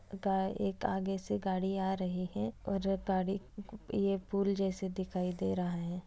गए आगे से गाड़ी अ रही है और गाड़ी ये पुल जैसे दिखाई दे रहा है